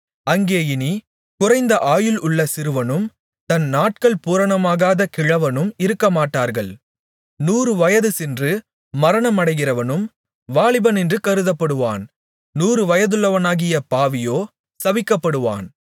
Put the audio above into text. அங்கே இனி குறைந்த ஆயுள் உள்ள சிறுவனும் தன் நாட்கள் பூரணமாகாத கிழவனும் இருக்கமாட்டார்கள் நூறு வயதுசென்று மரணமடைகிறவனும் வாலிபனென்று கருதப்படுவான் நூறு வயதுள்ளவனாகிய பாவியோ சபிக்கப்படுவான்